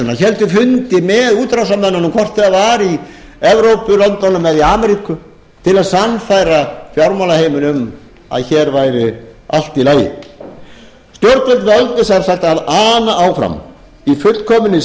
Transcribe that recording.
útrásarmönnunum hvort það var í evrópulöndunum eða í ameríku til að sannfæra fjármálaheiminn um að hér væri allt í lagi stjórnvöld völdu sem sagt að ana áfram í fullkominni